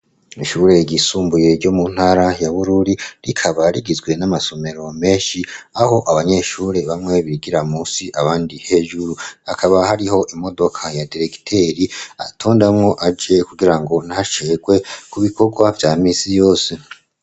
Ishure ryisumbuye ryo mu ntara ya Bururi rikaba rigizwe n'amasomero menshi, aho abanyeshure bamwe bigira musi abandi hejuru, hakaba hariho imodoka ya diregiteri atondamwo aje kugirango ntacegwe ku bikorwa vya misi yose.